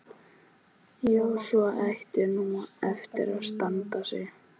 Já, sú ætti nú eftir að standa sig.